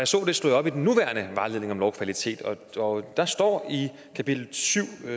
så det slog jeg op i den nuværende vejledning om lovkvalitet og der står i kapitel syv